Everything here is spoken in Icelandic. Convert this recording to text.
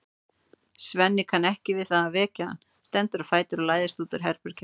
Svenni kann ekki við að vekja hann, stendur á fætur og læðist út úr herberginu.